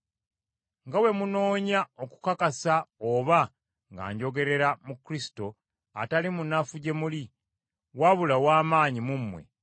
nga bwe munoonya okukakasa oba nga njogerera mu Kristo, atali munafu gye muli, wabula ow’amaanyi mu mmwe.